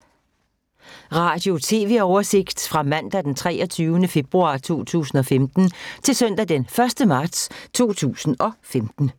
Radio/TV oversigt fra mandag d. 23. februar 2015 til søndag d. 1. marts 2015